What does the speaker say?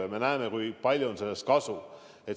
Ja me näeme, kui palju on sellest kasu.